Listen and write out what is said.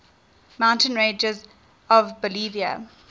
mountain ranges of bolivia